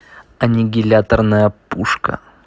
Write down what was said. аннигиляторная пушка